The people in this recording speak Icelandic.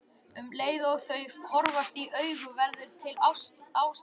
Um leið og þau horfast í augu verður til ástand.